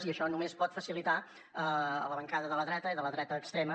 i això només pot facilitar a la bancada de la dreta i de la dreta extrema